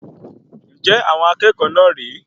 Njẹ àwọn akẹ́kọ̀ọ́ náà rè é?